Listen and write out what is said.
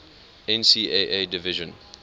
ncaa division